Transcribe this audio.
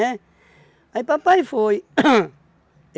Aí papai foi hum